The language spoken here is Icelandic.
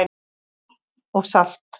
Vatn og salt